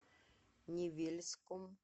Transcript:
невельском